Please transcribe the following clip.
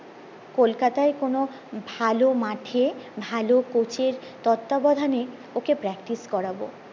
কলকাতায় কোনো ভালো মাঠে ভালো কোচের তত্তা বোধানে ওকে practice করবো